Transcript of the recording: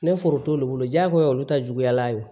Ne foro t'olu bolo jaagoya olu ta juguyala o